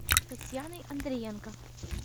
татьяной андриенко